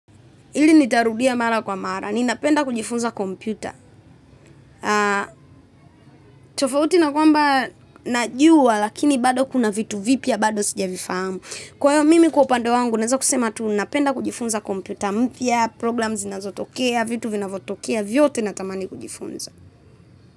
Ili nitarudia mara kwa mara. Ninapenda kujifunza kompyuta. Tofauti na kwamba najua, lakini bado kuna vitu vipya bado sijavifahamu. Kwa hiyo mimi kwa upande wangu, naeza kusema tu napenda kujifunza kompyuta. Mpya, programs zinazotokea, vitu vinavyotokea, vyote natamani kujifunza.